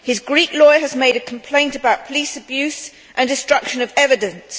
His Greek lawyer has made a complaint about police abuse and destruction of evidence.